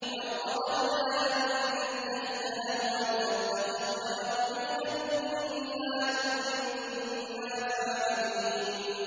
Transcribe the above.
لَوْ أَرَدْنَا أَن نَّتَّخِذَ لَهْوًا لَّاتَّخَذْنَاهُ مِن لَّدُنَّا إِن كُنَّا فَاعِلِينَ